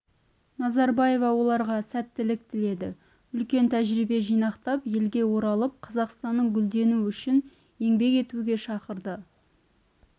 назарбаева оларға сәттілік тіледі үлкен тәжірибе жинақтап елге оралып қазақстанның гүлдену үшін еңбек етуге шақырды